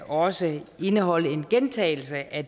også indeholde en gentagelse af